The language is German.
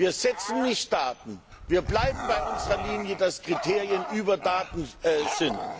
Wir setzen keine Daten, wir bleiben bei unserer Linie, dass Kriterien über Daten stehen.